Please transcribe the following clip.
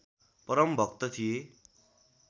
परम भक्त थिए